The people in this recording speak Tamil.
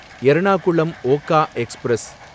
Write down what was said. எர்ணாகுளம் ஒகா எக்ஸ்பிரஸ்